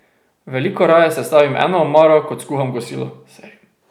Veliko raje sestavim eno omaro, kot skuham kosilo.